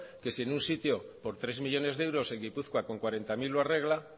que si en sitio por tres millónes de euros en gipuzkoa con cuarenta mil lo arregla